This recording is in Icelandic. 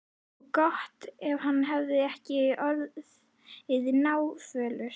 Og gott ef hann var ekki orðinn náfölur.